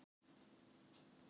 Æsa